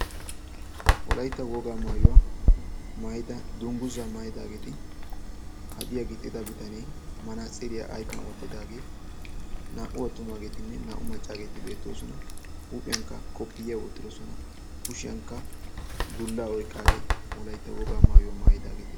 Wolaytta wogaa maayuwa maayida dungguzaa maayidaageeti hadiya gixida bitanee manaatsiriyaa ayfiyan wottidaagee naa"u attumaaagetinne naa"u maccaageeti beettoosona. Huuphiyankka koppiyya wottidosona. Kushiyankka dullaa oyqqaageeti wolaytta wogaa maayuwa maayidaageeti.